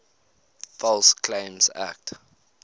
false claims act